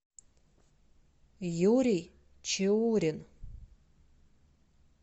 юрий чаурин